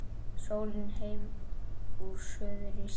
Sólin heim úr suðri snýr